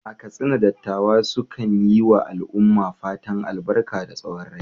A Katsina, dattawa sukan yi wa al’umma fatan albarka da tsawon rai.